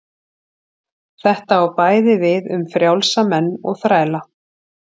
Þetta á bæði við um frjálsa menn og þræla.